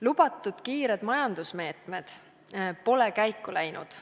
Lubatud kiired majandusmeetmed pole käiku läinud.